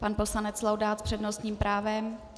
Pan poslanec Laudát s přednostním právem.